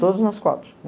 Todos nós quatro.